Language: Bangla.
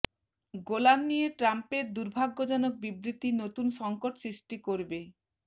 গোলান নিয়ে ট্রাম্পের দুর্ভাগ্যজনক বিবৃতি নতুন সংকট সৃষ্টি করবে